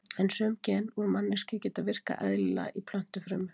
En sum gen úr manneskju geta virkað eðlilega í plöntufrumu.